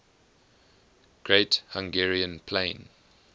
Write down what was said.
great hungarian plain